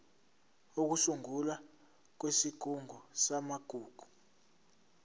ukusungulwa kwesigungu samagugu